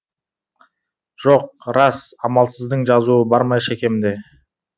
жоқ рас амалсыздың жазуы бар ма шекемде